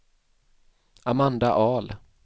Amanda Ahl